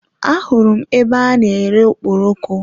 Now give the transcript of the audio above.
A hụrụ m ebe a n'ere okporoko.